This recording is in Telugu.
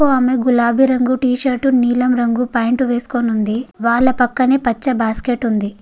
ఆకాము గులాబీ రంగు టి-షర్ట్ నీలం రంగు పాంట్ వేసుకుని ఉంది వాళ్ళ పక్కనే పచ్చ బాస్కెట్ ఉంది.